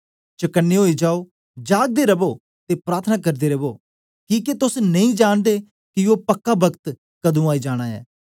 चकने ओई जाओ जागदे रवो ते प्रार्थना करदे रवो किके तोस नेई जांनदे कि ओ पक्का पक्त कदुं आई जाना ऐ